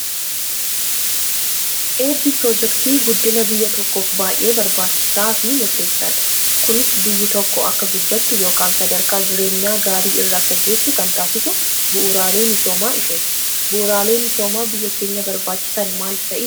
Eebbi piroojeektii guddiina biyya tokkoof baay'ee barbaachisaa fi murteessaadha. Kunis biyyi tokko akka guddattu yookaan sadarkaa jireenyaa gaarii irra akka geessu kan taasisu bu'uuraalee misoomaa isheeti. Bu'uuraalee misoomaa biyya keenya barbaachisan maal fa'i?